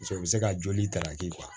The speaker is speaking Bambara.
Paseke u bɛ se ka joli ta ka di